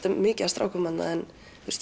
er mikið af strákum þarna en